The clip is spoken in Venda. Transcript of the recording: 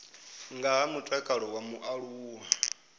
nga ha mutakalo wa mualuwa